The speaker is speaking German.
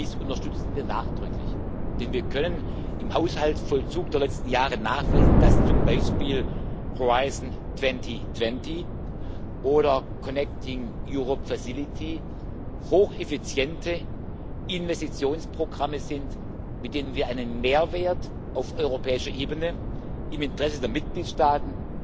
Dies unterstützen wir nachdrücklich, denn wir können im Haushaltsvollzug der letzten Jahre nachweisen, dass zum Beispiel Horizont 2020 oder die Connecting Europe Facility hocheffiziente Investitionsprogramme sind, mit denen wir einen Mehrwert auf europäischer Ebene im Interesse der Mitgliedstaaten,